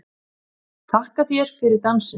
Þakka þér fyrir dansinn!